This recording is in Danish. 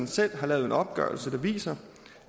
selv har lavet en opgørelse der viser